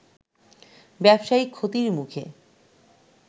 ব্যবসায়িক ক্ষতির মুখে